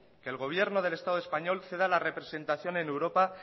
que el gobierno del estado español ceda la representación en europa